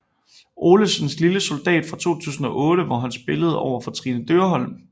Olesens Lille soldat fra 2008 hvor han spillede overfor Trine Dyrholm